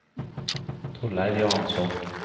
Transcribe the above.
Torleiv Johansson